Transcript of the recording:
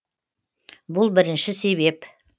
бұл бірінші себеп